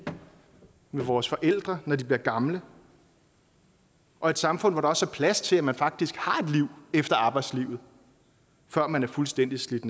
med vores forældre når de bliver gamle og et samfund hvor der også er plads til at man faktisk har et liv efter arbejdslivet før man er fuldstændig slidt